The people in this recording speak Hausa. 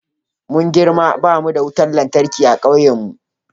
Muna girma ba mu da wutar lantarki a kauyenmu.